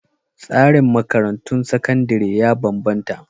Tsarin makarantun sakandare ya bambanta..